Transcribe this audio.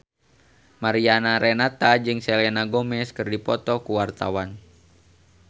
Mariana Renata jeung Selena Gomez keur dipoto ku wartawan